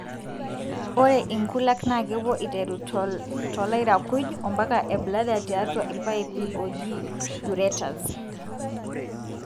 ore inkulak na kepuo iteru tolairakuj ampaka ebladder tiatua ilpaipi oji ureters.